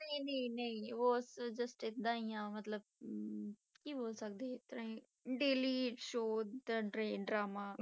ਨਹੀਂ ਨਹੀਂ ਨਹੀਂ ਉਹ just ਏਦਾਂ ਹੀ ਆਂ ਮਤਲਬ ਅਮ ਕੀ ਬੋਲ ਸਕਦੇ ਇਸ ਤਰ੍ਹਾਂ ਹੀ daily show ਦਾ ਡਰ~ ਡਰਾਮਾ।